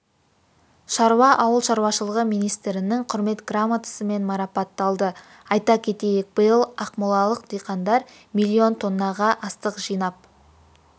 шаруа ауыл шаруашылығы министрінің құрмет грамотасымен марапатталды айта кетейік биыл ақмолалық диқандар миллион тоннаға астық жинап